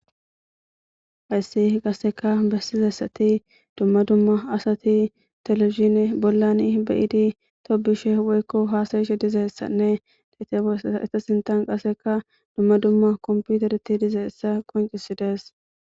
hayssi gasseka bessizassati dumma dumma asati teleishine bollani beyidi tobishe woykko haasayishe dizeessanne detesaeta sintan qaseka dumma dumma komputereti dizeessa qoncisidees